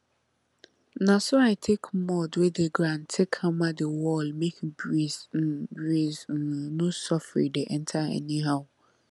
na so i take mud wey dey ground take hammer the wall make breeze um breeze um no soffri dey enter anyhow